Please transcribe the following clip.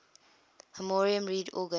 harmonium reed organ